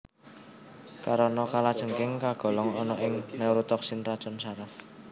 Karana kalajengking kagolong ana ing neurotoksin racun saraf